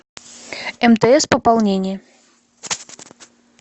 мтс пополнение